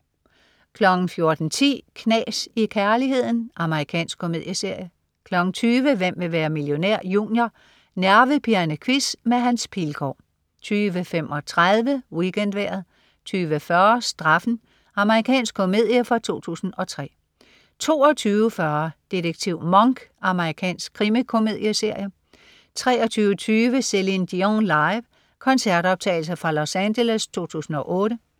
14.10 Knas i kærligheden. Amerikansk komedieserie 20.00 Hvem vil være millionær? Junior. Nervepirrende quiz med Hans Pilgaard 20.35 WeekendVejret 20.40 Straffen. Amerikansk komedie fra 2003 22.40 Detektiv Monk. Amerikansk krimikomedieserie 23.30 Céline Dion. Live. Koncertoptagelse fra Los Angeles 2008